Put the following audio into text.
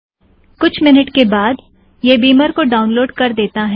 कुछ मिन्यूट के बाद यह बिमर को डाउनलोड कर देता है